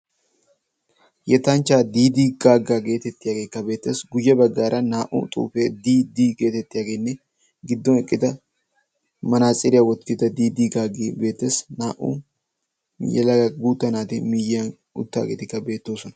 Yettanchchaa diidi gaagga getettiyageekk beettees. guye baggaara naa"u xuufee diiddi getettiyaagenne giddon eqqida manaatsiriyaa wottida diidi gaaggi beettees. naa"u yelaga guutta naati miyiyaan uttaagetikka beettoosona.